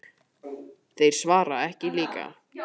Þeir svara ekki líka.